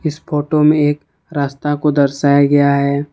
इस फोटो में एक रास्ता को दर्शाया गया है।